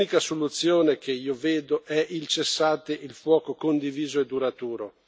L'unica soluzione che io vedo è il cessate il fuoco condiviso e duraturo.